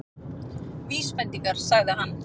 Vísbendingar- sagði hann.